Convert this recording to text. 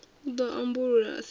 u ḓo ambulula a sa